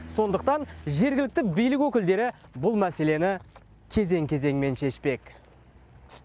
сондықтан жергілікті билік өкілдері бұл мәселені кезең кезеңмен шешпек